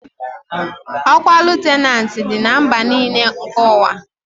Okwa lutenanti Di na mba n'ile nke uwa